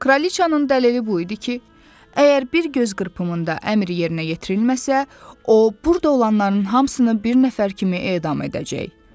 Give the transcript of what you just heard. Kralıçanın dəlili bu idi ki, əgər bir göz qırpımında əmr yerinə yetirilməsə, o burda olanların hamısını bir nəfər kimi edam edəcək.